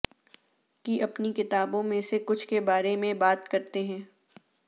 کی اپنی کتابوں میں سے کچھ کے بارے میں بات کرتے ہیں